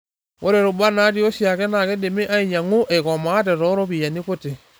Ore rubat naati oshiake naa keidimi ainyang'u eikomaate toropiyiani kuti.